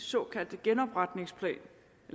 såkaldte genopretningspakke